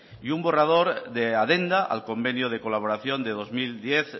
y un borrador de adenda al convenio de colaboración de dos mil diez